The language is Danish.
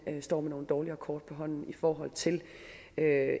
hen står med nogle dårligere kort på hånden i forhold til